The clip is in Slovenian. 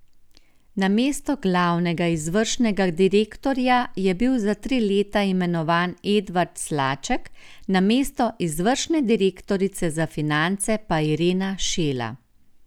Na mesto glavnega izvršnega direktorja je bil za tri leta imenovan Edvard Slaček, na mesto izvršne direktorice za finance pa Irena Šela.